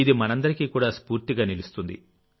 ఇది మనందరికీ కూడా స్ఫూర్తిగా నిలుస్తుంది